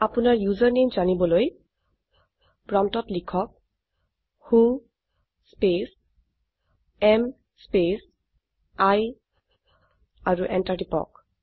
আপোনাৰ ইউচাৰনামে জানিবলৈ প্ৰম্পটত লিখক who space am space I আৰু এন্টাৰ টিপক